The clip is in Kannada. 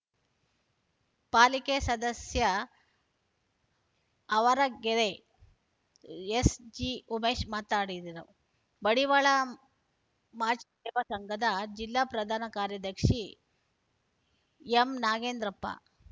ಪಾಲಿಕೆ ಸದಸ್ಯ ಆವರಗೆರೆ ಎಸ್ ಜಿಉಮೇಶ್‌ ಮಾತನಾಡಿದರು ಮಡಿವಾಳ ಮಾಚಿದೇವ ಸಂಘದ ಜಿಲ್ಲಾ ಪ್ರಧಾನ ಕಾರ್ಯದರ್ಶಿ ಎಂನಾಗೇಂದ್ರಪ್ಪ